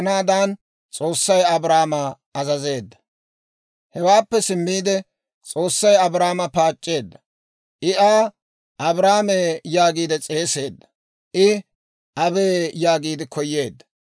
Hewaappe simmiide, S'oossay Abrahaama paac'c'eedda; I Aa, «Abrahaamee» yaagiide s'eeseedda. I, «Abee» yaagiide koyeedda.